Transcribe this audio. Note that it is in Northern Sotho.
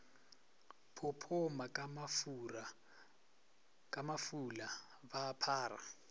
phophoma ka mafula ba phara